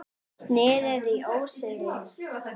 Snið í óseyri.